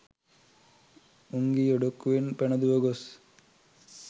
උංගී ඔඩොක්කුවෙන් පැන දුව ගොස්